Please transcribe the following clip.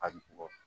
A bɔ